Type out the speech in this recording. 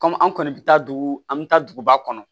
an kɔni bɛ taa dugu an bɛ taa duguba kɔnɔ